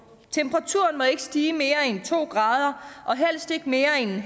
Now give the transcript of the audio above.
temperaturen må ikke stige mere end to grader og helst ikke mere end